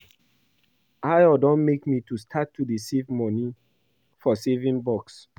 Ayo don make me start to dey save money for saving box